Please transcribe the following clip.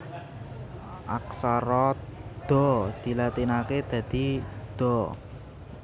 Aksara Da dilatinaké dadi Da